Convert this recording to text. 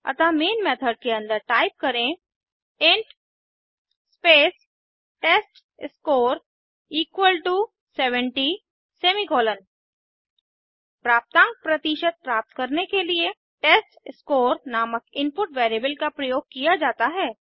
अतः main method के अन्दर टाइप करें int space test score equal to 70 semicolon प्राप्तांक प्रतिशत प्राप्त करने के लिए टेस्टस्कोर नामक इनपुट वैरिएबल का प्रयोग किया जाता है